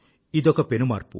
ఇదొక పెను మార్పు